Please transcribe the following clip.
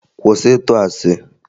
Kwụsị ịtụ asị!